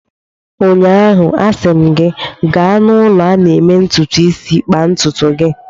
Ụnyaahụ, a sị m gị, gaa n'ụlọ a na-eme ntụtụ isi kpaa ntụtụ gị!